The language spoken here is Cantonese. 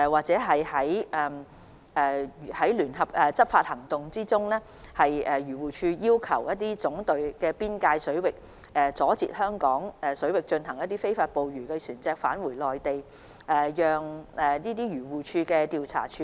在聯合執法行動中，漁護署會在香港水域阻截非法捕魚的內地漁船返回內地水域，而未能成功攔截的內地漁船資料會轉交總隊調查處理。